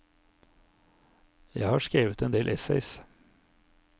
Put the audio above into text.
Jeg har skrevet en del essays.